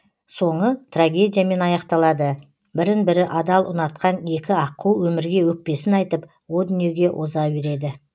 соңы трагедиямен аяқталады бірін бірі адал ұнатқан екі аққу өмірге өкпесін айтып о дүниеге оза береді